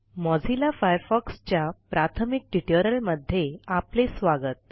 Mozilla Firefox च्या प्राथमिक tutorial मध्ये आपले स्वागत